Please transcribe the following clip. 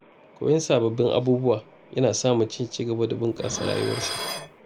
Koyon sababbin abubuwa yana sa mutum ya ci gaba da bunƙasa rayuwarsa.